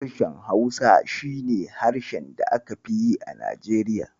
Harshen Hausa shi ne harshe da aka fi yi a Najeriya.